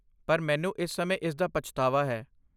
ਪਰ, ਮੈਨੂੰ ਇਸ ਸਮੇਂ ਇਸਦਾ ਪਛਤਾਵਾ ਹੈ।